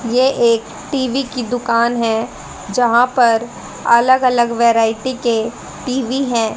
ये एक टी_वी की दुकान है जहां पर अलग अलग वैरायटी के टी_वी है।